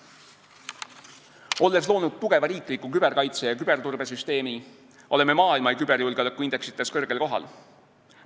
Olles loonud tugeva riikliku küberkaitse- ja küberturbesüsteemi, oleme maailma küberjulgeoleku indeksites kõrgel kohal.